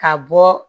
Ka bɔ